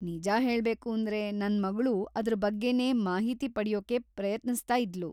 ನಿಜ ಹೇಳ್ಬೇಕೂಂದ್ರೆ, ನನ್‌ ಮಗ್ಳೂ ಅದ್ರ ಬಗ್ಗೆನೇ ಮಾಹಿತಿ ಪಡ್ಯೋಕೆ ಪ್ರಯತ್ನಿಸ್ತಾ ಇದ್ಳು.